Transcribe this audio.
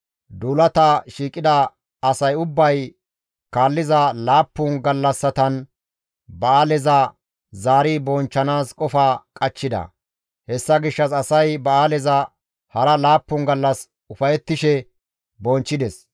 Duulata shiiqida asay ubbay kaalliza laappun gallassatan ba7aaleza zaari bonchchanaas qofa qachchida; hessa gishshas asay ba7aaleza hara laappun gallas ufayettishe bonchchides.